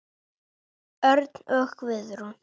Örn og Guðrún.